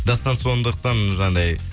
дастан сондықтан жаңағындай